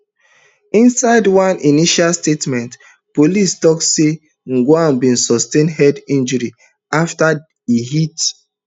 inside one initial statement police tok say ojwang bin sustain head injuries afta e hit